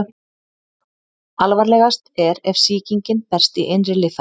Alvarlegast er ef sýkingin berst í innri líffæri.